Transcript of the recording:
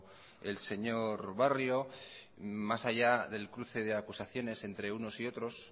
el señor barrio más allá del cruce de acusaciones entre unos y otros